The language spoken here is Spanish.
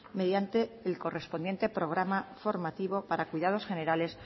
mediante el correspondiente programa formativo para cuidados generales